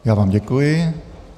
Já vám děkuji.